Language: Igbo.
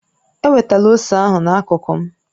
Ewetala ose ahụ na-akuku m